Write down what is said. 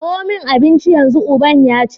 kawo min abinci yanzu! uban yace